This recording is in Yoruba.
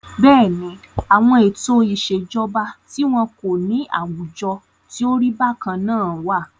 Bẹ́ẹ̀ni, àwọn ètò ìṣèjọba tí wọn kò ní àwùjọ tí o rí bákan náà wà.